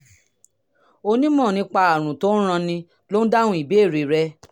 onímọ̀ nípa àrùn tó ń ranni ló ń dáhùn ìbéèrè rẹ